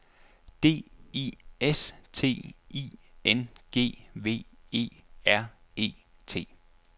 D I S T I N G V E R E T